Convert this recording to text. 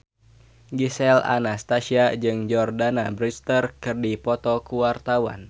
Gisel Anastasia jeung Jordana Brewster keur dipoto ku wartawan